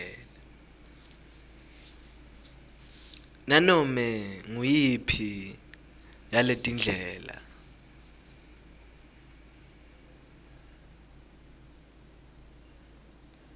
nganome nguyiphi yaletindlela